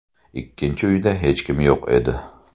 Ikkinchi uyda hech kim yo‘q edi.